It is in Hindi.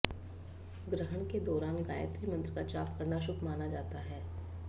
ग्रहण के दौरान गायत्री मंत्र का जाप करना शुभ माना जाता है